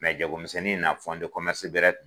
jagomisɛnnin na de bɛrɛ.